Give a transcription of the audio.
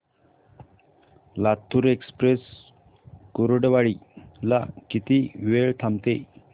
Latur express Kurduwadi ला किती वेळ थांबते